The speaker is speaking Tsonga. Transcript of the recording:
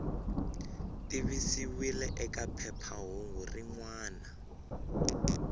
tivisiwile eka phephahungu rin wana